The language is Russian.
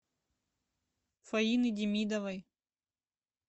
фаины демидовой